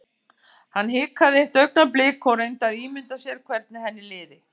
Hann hikaði eitt augnablik og reyndi að ímynda sér hvernig henni liði.